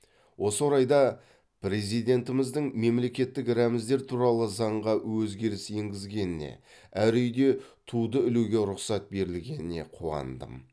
осы орайда президентіміздің мемлекеттік рәміздер туралы заңға өзгеріс енгізгеніне әр үйде туді ілуге рұқсат берілгеніне қуандым